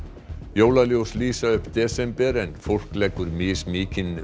jólaljós lýsa upp desember en fólk leggur mismikinn